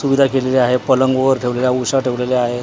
सुविधा केलेली आहे पलंग वर ठेवलेला उशा ठेवलेल्या आहेत .